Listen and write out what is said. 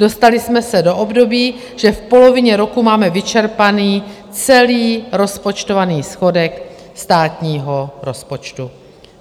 Dostali jsme se do období, že v polovině roku máme vyčerpaný celý rozpočtovaný schodek státního rozpočtu.